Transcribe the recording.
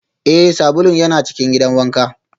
Ee, sabulun yana cikin gidan wanka